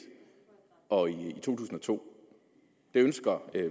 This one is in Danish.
og to tusind og to det ønsker